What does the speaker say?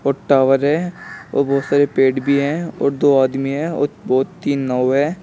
Tower है और बहुत सारे पेड़ भी हैं और दो आदमी हैं और बहुत तीन नाव है।